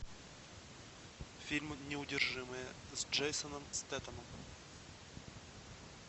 фильм неудержимые с джейсоном стэтэном